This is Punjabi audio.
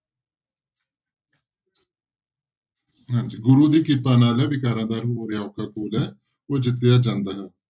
ਹਾਂਜੀ ਗੁਰੂ ਦੀ ਕਿਰਪਾ ਨਾਲ ਵਿਕਾਰਾਂ ਦਾ ਹੋ ਰਿਹਾ ਔਖਾ ਘੋਲ ਹੈ, ਉਹ ਜਿੱਤਿਆ ਜਾਂਦਾ ਹੈ।